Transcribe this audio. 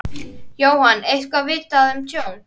Jóhann: Eitthvað vitað um tjón?